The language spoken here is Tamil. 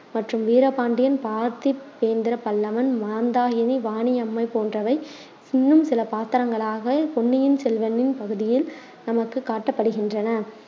மற்றும் வீரபாண்டியன், பார்த்திபேந்திர பல்லவன், மந்தாகினி, வாணி அம்மை போன்றவை இன்னும் சில பாத்திரங்களாக பொன்னியின் செல்வனின் பகுதியில் நமக்கு காட்டப்படுகின்றன.